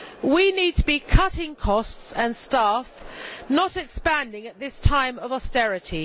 We need to be cutting costs and staff, not expanding at this time of austerity.